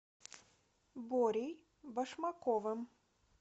борей башмаковым